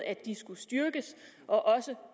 at de skulle styrkes også